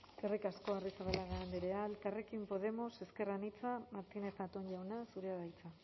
eskerrik asko arrizabalaga andrea elkarrekin podemos ezker anitza martínez zatón jauna zurea da hitza